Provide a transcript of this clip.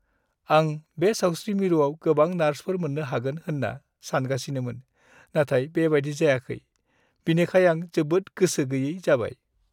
"आं बे सावस्रि मिरुआव गोबां नार्सफोर मोन्नो हागोन होन्ना सानगासिनोमोन, नाथाय बेबायदि जायाखै, बिनिखाय आं जोबोद गोसो गैयै जाबाय।"